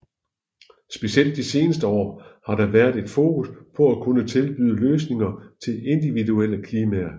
Specielt de senere år har der været et fokus på at kunne tilbyde løsninger til individuelle klimaer